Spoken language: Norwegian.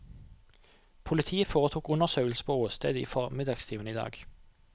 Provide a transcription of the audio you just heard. Politiet foretok undersøkelser på åstedet i formiddagstimene i dag.